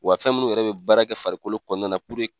Wa fɛn munnu yɛrɛ be baara kɛ farikolo kɔnɔna na